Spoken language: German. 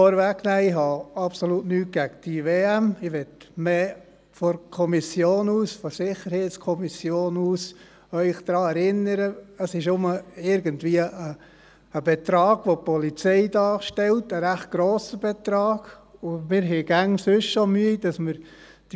Ich möchte Sie, mehr von der SiK aus, daran erinnern, dass es nur irgendein Betrag ist, der die Polizei darstellt – ein recht grosser Betrag, und wir haben sonst immer schon Mühe.